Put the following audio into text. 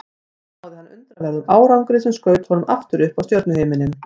Þar náði hann undraverðum árangri sem skaut honum aftur upp á stjörnuhimininn.